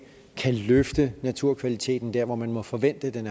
kan løfte naturkvaliteten der hvor man må forvente den